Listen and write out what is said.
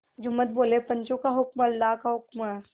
जुम्मन बोलेपंचों का हुक्म अल्लाह का हुक्म है